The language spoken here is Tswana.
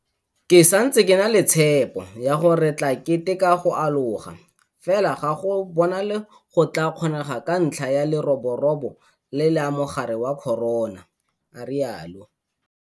Ke santse ke na le tshepo ya gore re tla keteka go aloga, fela ga go bonale go tla kgonega ka ntlha ya leroborobo le la mogare wa corona, a rialo.